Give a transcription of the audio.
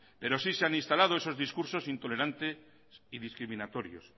pero sí se han instalado esos discursos intolerantes y discriminatorios